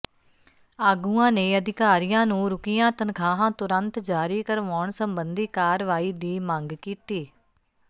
ਆਗੂਆਂ ਨੇ ਅਧਿਕਾਰੀਆਂ ਨੂੰ ਰੁਕੀਆਂ ਤਨਖਾਹਾਂ ਤੁਰੰਤ ਜਾਰੀ ਕਰਵਾਉਣ ਸਬੰਧੀ ਕਾਰਵਾਈ ਦੀ ਮੰਗ ਕੀਤੀ